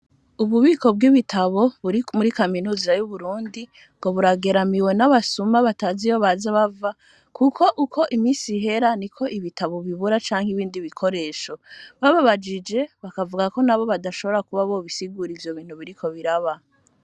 Ububiko bw'ibitabo buri muri kaminuza y'Uburundi ngo burageramiwe n'abasuma bataziyo baza bava, kuko uko imisi ihera ni ko ibitabo bibura canke ibindi bikoresho bababajije bakavuga ko na bo badashobora kuba bobisigura ivyo bintu biriko biraba.